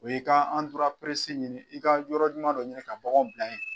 O ye i ka ɲini i ka yɔrɔ ɲuman dɔ ɲini ka baganw bila ye.